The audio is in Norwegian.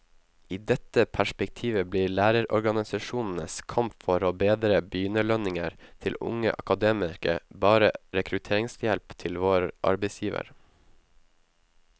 I dette perspektivet blir lærerorganisasjonenes kamp for å bedre begynnerlønninger til unge akademikere bare rekrutteringshjelp til vår arbeidsgiver.